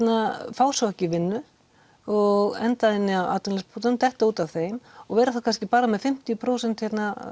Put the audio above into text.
fá svo ekki vinnu og endað inni á atvinnuleysisbótum detta út af þeim og vera þá kannski bara með fimmtíu prósent